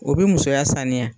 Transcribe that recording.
O bi musoya saniya.